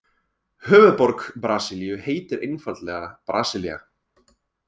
Höfuðborg Brasilíu heitir einfaldlega Brasilía.